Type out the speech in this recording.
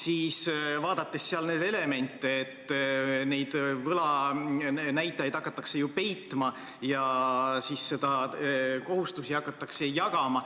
siis vaadates seal neid elemente, on näha, et võlanäitajaid hakatakse ju peitma ja kohustusi hakatakse jagama.